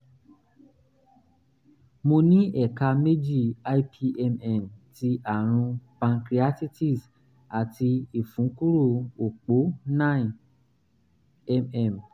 mo ní ẹ̀ka méjì ipmn ti àrùn pancreatitis àti ìfúnkúrò òpó nine um mm